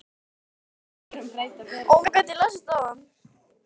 Þórhildur: Hvaða Jónar eruð þið?